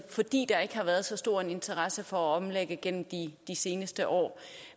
fordi der ikke har været så stor en interesse for at omlægge igennem de seneste år